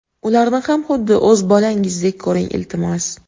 Ularni ham xuddi o‘z bolangizdek ko‘ring, iltimos!